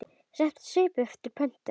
Setur upp svip eftir pöntun.